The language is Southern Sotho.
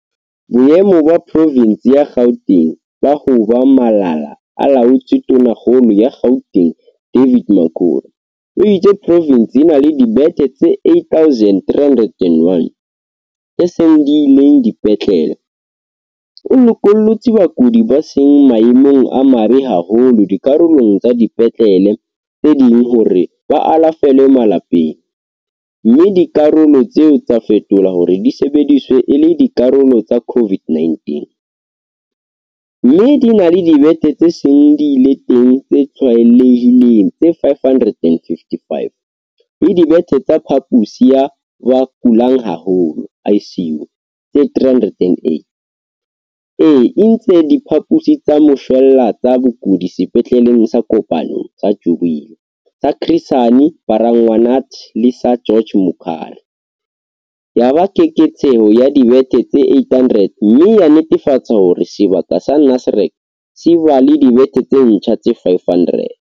Boemo ba provense ya Gauteng ba ho ba malala-a-laotswe Tonakgolo ya Gauteng David Makhura o itse provense e na le dibethe tse 8 301 tse seng di le teng dipetlele, o lokollotse bakudi ba seng maemong a mabe haholo dikarolong tsa dipetlele tse ding hore ba alafelwe malapeng, mme dikarolo tseo tsa fetolwa hore di sebediswe e le dikarolo tsa CO-VID-19, mme di na le dibethe tse seng di le teng tse tlwaelehileng tse 555 le dibethe tsa phaposi ya ba kulang haholo, ICU, tse 308, e entse diphaposi tsa moshwelella tsa bakudi sepetleleng sa Kopanong, sa Jubilee, sa Chris Hani Baragwanath le sa George Mukhari, ya ba keketseho ya dibethe tse 800, mme ya netefatsa hore sebaka sa Nasrec se ba le dibethe tse ntjha tse 500.